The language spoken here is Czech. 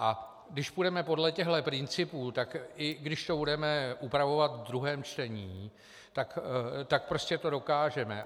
A když půjdeme podle těchto principů, tak i když to budeme upravovat v druhém čtení, tak to prostě dokážeme.